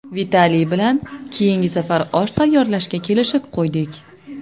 Vitaliy bilan keyingi safar osh tayyorlashga kelishib qo‘ydik.